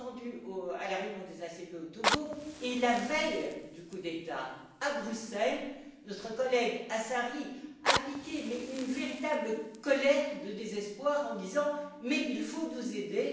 les a entendus à la réunion des ACP au Togo, et la veille du coup d'État, à Bruxelles, notre collègue Assari a piqué une véritable colère de désespoir en disant Mais il faut nous aider!